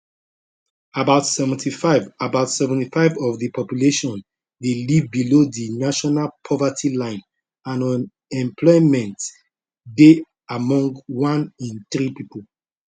about 75 about 75 of di population dey live below di national poverty line and unemployment dey among one in three pipo